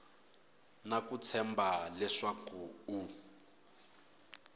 na ku tshemba leswaku u